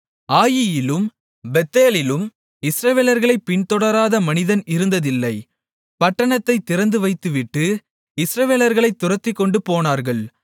ஆயீயிலும் பெத்தேலிலும் இஸ்ரவேலர்களைப் பின்தொடராத மனிதன் இருந்ததில்லை பட்டணத்தைத் திறந்துவைத்துவிட்டு இஸ்ரவேலர்களைத் துரத்திக்கொண்டுபோனார்கள்